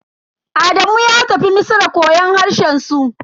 Adamu ya tafi Misra koyon harshen su.